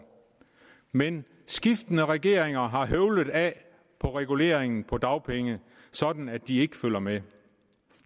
men skiftende regeringer har høvlet af på reguleringen af dagpengene sådan at de ikke følger med